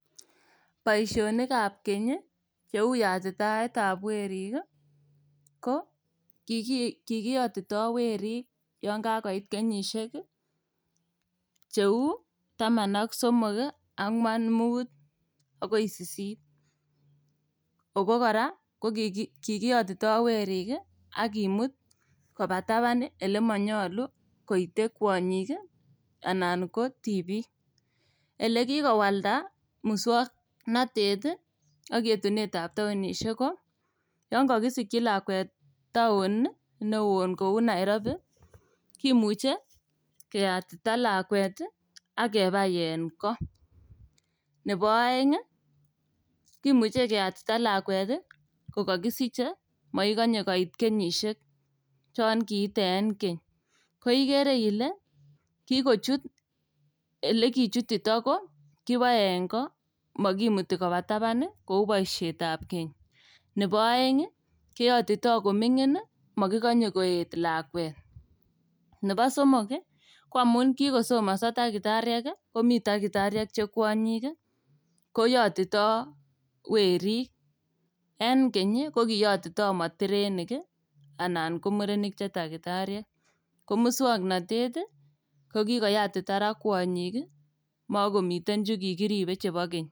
Boishonik ap keny cheu yatitaetvap werik ko kikiyotitoi werik yon kakoit kenyishek cheu taman ak somok angwan muut akoi sisit ako kora ko kikiyotitoi werik akimut koba taban ole manyolu koite kwonyik anan ko tibik elekikowalda muswongnotet ak yetunet ap taonishek ko yon kakisikchi lakwet taon neo koun Nairobi kimuchei keyatita lakwet akebai eng kot nebo oeng kimuchei keyatita lakwet kokakisichei makikonye koit kenyishek chon kiiten keny ko ikere ile kikohit elekichutito ko kiboe eng ko makimiti koba tapan kou boishet ap keny nebo oeng keyotitoi ko mining makikanye koet lakwet nebo somok ko amun kikosomonso dakitariek komi dakitariek che kwonyik koyotitoi werik en keny ko kiyotitoi motirenik anan ko murenik che dakitariek ko muswongnotet ko kikoyatita ra kwonyik makomiten chu kikiribe chebo keny.